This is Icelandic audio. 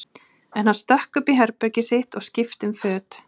En hann stökk upp í herbergið sitt og skipti um föt.